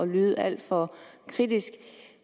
lyde alt for kritisk